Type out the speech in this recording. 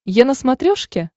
е на смотрешке